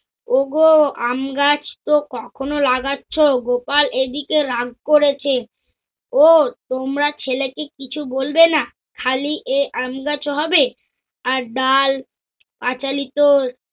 ও গো, আমগাছ তো কখনও লাগাচ্ছ গোপাল এদিগে রাগ করেছে। ও, তোমরা ছেলেকে কিছু বলবেনা খালি এ আমগাছ হবে? আর ডাল পাচালিত